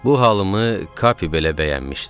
Bu halımı Kapi belə bəyənmişdi.